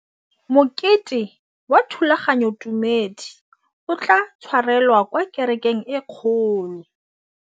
Mokete wa thulaganyôtumêdi o tla tshwarelwa kwa kerekeng e kgolo.